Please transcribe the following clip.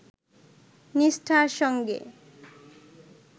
নিষ্ঠার সঙ্গে